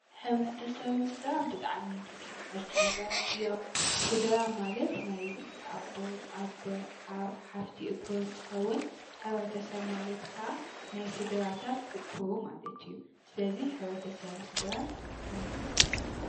ሕብረተሰብን ስድራን ብጣዕሚ ተተሓሓዝቲ ነገራት እዮም፡፡ ስድራ ማለት ናይ ኣቦ፣ ኣደ፣ ሓው፣ ሓፍቲ እኩብ እንትኸውን ሕብረተሰብ ማለት ከዓ ናይ ስድራታት እኩብ ማለት እዩ፡፡ ስለዚ ሕብረተሰብን ስድራን ተመሳሰልቲ እዮም፡፡